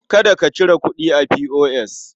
Kada ka cire kuɗi a P.O.S.